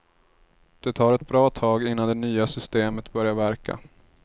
Det tar ett bra tag innan det nya systemet börjar verka.